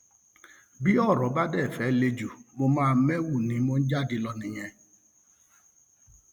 bí ọrọ bá dé fẹẹ le jù mo máa méwu ni mò ń jáde lọ nìyẹn